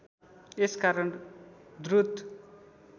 यस कारण द्रुत